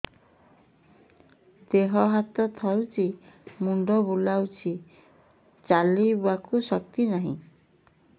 ଦେହ ହାତ ଥରୁଛି ମୁଣ୍ଡ ବୁଲଉଛି ଚାଲିବାକୁ ଶକ୍ତି ନାହିଁ